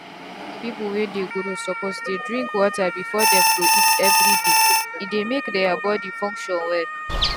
young people wey just dey grow suppose dey drink water before dem go eat everydaye dey make their body function well